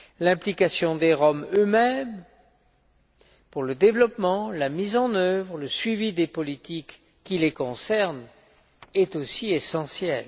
l'implication des Roms eux mêmes pour le développement, la mise en œuvre et le suivi des politiques qui les concernent est aussi essentielle.